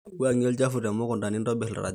wuangie olchafu temukunta nintobir ildarajani